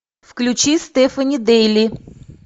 включи стефани дейли